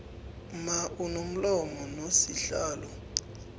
mma unomlomo nosihlalo